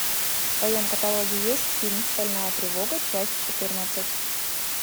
в твоем каталоге есть фильм стальная тревога часть четырнадцать